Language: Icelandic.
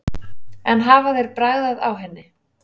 En hafa þeir bragðað á henni?